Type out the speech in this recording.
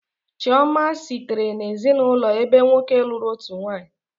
Chioma sitere n'ezinụlọ ebe nwoke lụrụ otu nwanyị